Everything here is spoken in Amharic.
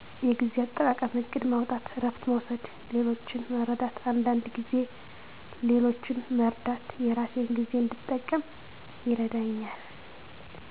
የጊዜ አጠቃቀም እቅድ ማውጣት እረፍት መውሰድ ሌሎችን መርዳት አንዳንድ ጊዜ ሌሎችን መርዳት የራሴን ጊዜ እንድጠቀም ይረዳኛል።